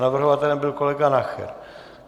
Navrhovatelem byl kolega Nacher.